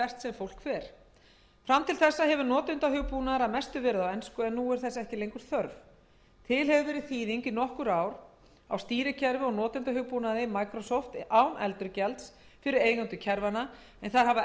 fólk fer fram til þessa hefur notendahugbúnaður að mestu verið á ensku en nú er þess ekki lengur þörf til hefur verið þýðing í nokkur ár á stýrikerfi og notendahugbúnaði microsofts án endurgjalds fyrir eigendur kerfanna en þær hafa